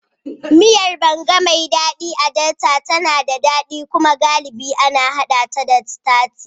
Miyar Banga, mai daɗi a Delta, tana da daɗi kuma galibi ana haɗa ta da sitaci.